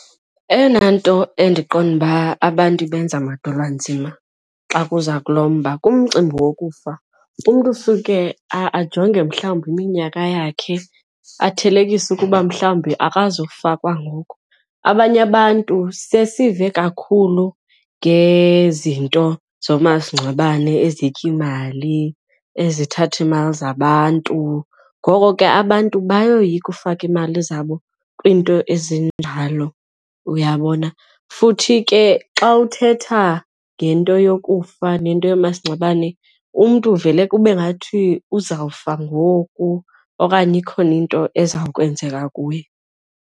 Eyona nto endiqonda uba abantu ibenza madolwanzima xa kuza kulo mba kumcimbi wokufa umntu usuke ajonge mhlawumbi iminyaka yakhe athelekise ukuba mhlawumbi akazufa kwangoku. Abanye abantu sesive kakhulu ngezinto zoomasingcwabene ezitya iimali, ezithatha iimali zabantu, ngoko ke abantu bayoyika ufaka iimali zabo kwiinto ezinjalo, uyabona. Futhi ke xa uthetha ngento yokufa nento yoomasingcwabane umntu uvele kube ngathi uzawufa ngoku okanye ikhona into ezakwenzeka kuye.